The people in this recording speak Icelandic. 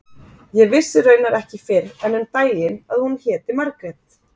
Ég vissi raunar ekki fyrr en um daginn að hún héti Margrét.